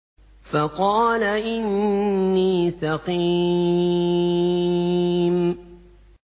فَقَالَ إِنِّي سَقِيمٌ